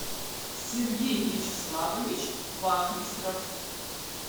сергей вячеславович вахмистров